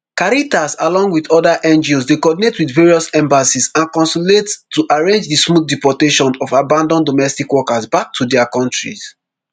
caritas along wit oda ngos dey coordinate with various embassies and consulates to arrange di smooth deportation of abanAcceptedd domestic workers back to dia kontries